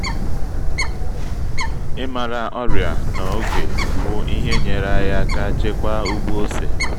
ịmara ọrịa na-oge wu-ihe nyere anyị aka chekwaa ugbo ose